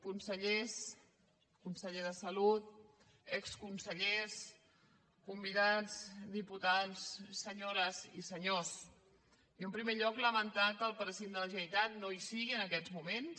consellers conseller de salut exconsellers convidats diputats senyores i senyors jo en primer lloc lamentar que el president de la generalitat no hi sigui en aquests moments